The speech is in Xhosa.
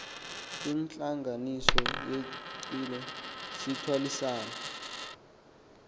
kwintlanganiso yenqila sithwalisana